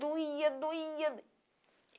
Doía, doía.